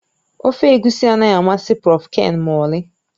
Ofe egusi anaghị amasị Prọf Ken ma ọlị